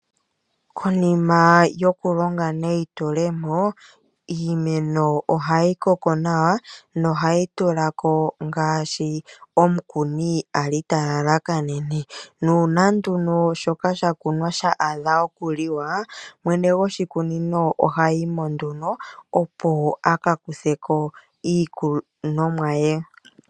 Konima yokulonga neyitulomo, iimeno ohayi koko nawa nohayi tulako ngaashi omukuni a li ta lalakanene. Nuuna nduno shoka sha kunwa sha adha okuliwa, mwene goshikunino ohayi mo nduno opo a ka kuthe ko iikunomwa ye.